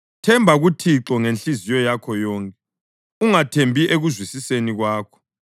Themba kuThixo ngenhliziyo yakho yonke, ungathembi ekuzwisiseni kwakho;